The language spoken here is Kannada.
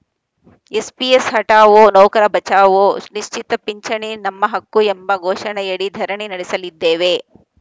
ಎನ್‌ಪಿಎಸ್‌ ಹಠಾವೋ ನೌಕರ ಬಚಾವೋ ನಿಶ್ಚಿತ ಪಿಂಚಣಿ ನಮ್ಮ ಹಕ್ಕು ಎಂಬ ಘೋಷಣೆಯಡಿ ಧರಣಿ ನಡೆಸಲಿದ್ದೇವೆ